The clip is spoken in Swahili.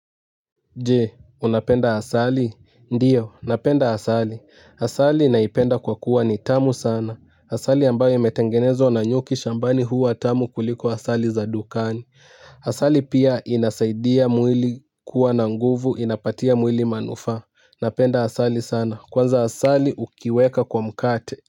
Jee, unapenda asali? Ndiyo, napenda asali. Asali naipenda kwa kuwa ni tamu sana. Asali ambayo imetengenezwa na nyuki shambani huwa tamu kuliko asali za dukani. Asali pia inasaidia mwili kuwa na nguvu, inapatia mwili manufa. Napenda asali sana. Kwanza asali ukiweka kwa mkate.